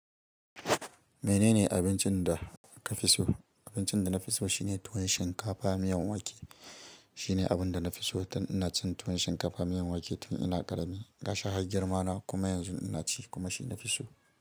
Menene abincin da ka fi so? Abincin da na fi so shine tuwon shinkafa miyan wake. Shine abun da na fi so tun ina cin tuwon shinkafa miyan wake tun ina ƙarami. Gashi har girmana kuma yanzu ina ci kuma shi na fi so.